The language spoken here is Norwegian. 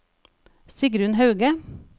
Sigrunn Hauge